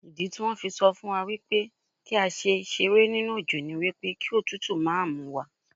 Ìdítí wón fi sọ fún wa wípé kí á ṣe ṣeré nínú òjò ni wípé kí òtútù máa múwa.